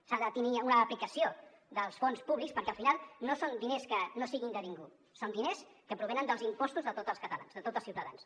s’ha de tenir una aplicació dels fons públics perquè al final no són diners que no siguin de ningú són diners que provenen dels impostos de tots els catalans de tots els ciutadans